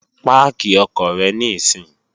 Páàkì ọkọ̀ rẹ níìsín!